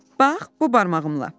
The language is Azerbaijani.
Bax, bu barmağımla."